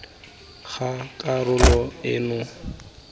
ga karolo eno gongwe molao